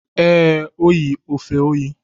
Ee, O yi efe oyi.